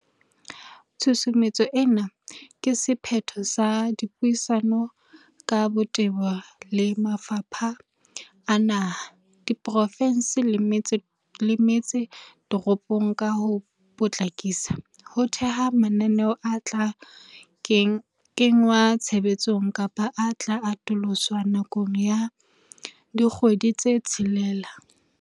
Tshusumetso ena ke se phetho sa dipuisano ka botebo le mafapha a naha, a diprofe nse le metse toropo ka ho po tlakisa ho theha mananeo a tla kengwa tshebetsong kapa a tla atoloswa nakong ya dikgwedi tse tshelela.